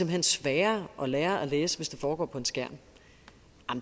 hen sværere at lære at læse hvis det foregår på en skærm